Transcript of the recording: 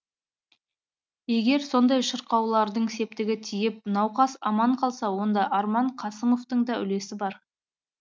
егер сондай шақырулардың септігі тиіп науқас аман қалса онда арман қасымовтың да үлесі бар